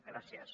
gràcies